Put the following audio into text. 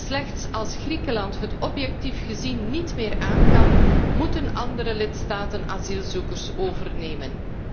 Slechts als Griekenland het objectief gezien niet meer aankan, moeten andere lidstaten asielzoekers overnemen.